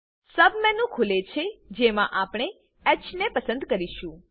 submenu ખુલે છે જેમાં આપણે હ પસંદ કરીશું